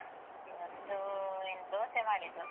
ಇವತ್ತು ಏನ್ ದೋಸೆ ಮಾಡಿದ್ದು.